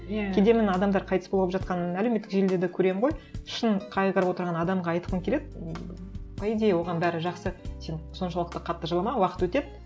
иә кейде мен адамдар қайтыс болып жатқан әлеуметтік желіде де көремін ғой шын қайғырып отырған адамға айтқым келеді ммм по идее оған бәрі жақсы сен соншалықты қатты жылама уақыт өтеді